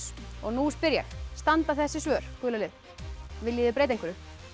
og nú spyr ég standa þessi svör gula liða viljið þið breyta einhverju